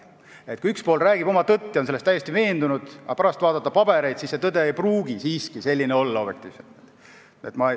Üks pool võib rääkida oma tõtt ja olla selles täiesti veendunud, aga kui pärast vaadata pabereid, siis see tõde ei pruugi siiski objektiivselt selline olla.